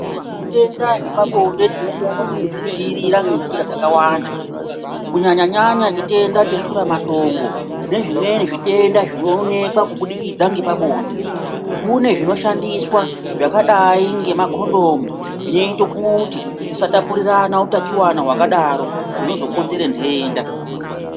Zvitenda zvepabonde tinokone kuzvidzivivirira ngenzira dzakawanda. Kunyanya-nyanya chitenda cheshura matongo nezvimweni zvitenda zvinonekwa kubudikidza ngepabonde. Kune zvinoshandiswa zvakadai ngemakondomu zvinoita kuti tisatapurirana utachiwana hwakadaro, zvinozokonzera nhenda.